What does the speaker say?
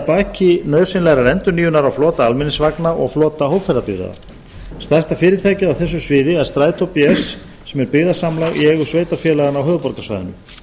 baki nauðsynlegrar endurnýjunar á flota almenningsvagna og flota hópferðabifreiða stærsta fyrirtækið á þessu sviði er strætó bs sem er byggðasamlag í eigu sveitarfélaganna á höfuðborgarsvæðinu